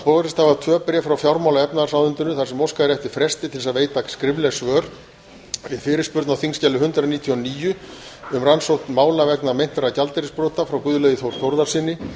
borist hafa tvö bréf frá fjármála og efnahagsráðuneytinu þar sem óskað er eftir fresti til að veita skrifleg svör við fyrirspurn á þingskjali hundrað níutíu og níu um rannsókn mála vegna meintra gjaldeyrisbrota frá guðlaugi þór þórðarsyni